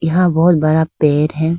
यहां बहुत बड़ा पेड़ है।